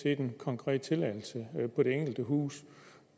er en konkret tilladelse på det enkelte hus